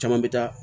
Caman bɛ taa